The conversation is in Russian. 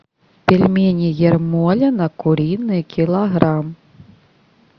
пельмени ермолино куриные килограмм